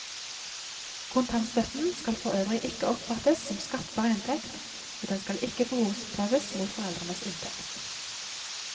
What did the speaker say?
Kontantstøtten skal forøvrig ikke oppfattes som skattbar inntekt, og den skal ikke behovsprøves mot foreldrenes inntekt.